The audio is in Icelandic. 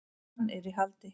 Hann er í haldi.